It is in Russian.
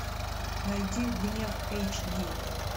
найди гнев эйч ди